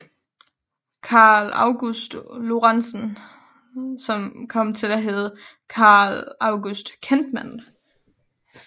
Carl August Lorentzen kom til at hedde Carl August Kentman